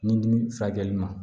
Nin dimi furakɛli ma